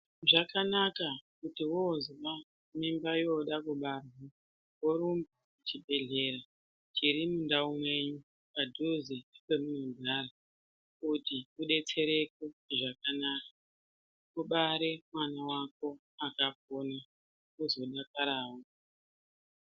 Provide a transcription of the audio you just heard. Zvakanaka kuti wozwa mimba yoda kubarwa, worumba kuchibhedhlera chiri mundau mwenyu padhuze nepemunogara, kuti udetsereke mune zvakanaka. Ubare mwana wako akapona, uzodakarawo.